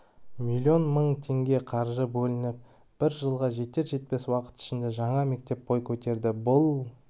миллион мың теңге қаржы бөлініп бір жылға жетер-жетпес уақыт ішінде жаңа мектеп бой көтерді бұл